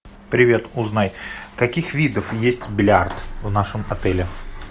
привет узнай каких видов есть бильярд в нашем отеле